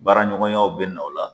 Baaraɲɔgɔnyaw bɛ na o la